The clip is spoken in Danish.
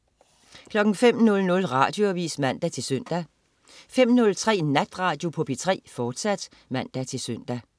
05.00 Radioavis (man-søn) 05.03 Natradio på P3, fortsat (man-søn)